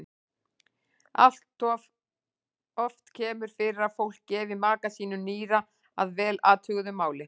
Alloft kemur fyrir að fólk gefi maka sínum nýra að vel athuguðu máli.